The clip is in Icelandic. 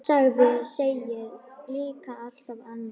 Sagan segir líka allt annað.